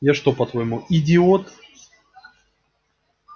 я что по-твоему идиот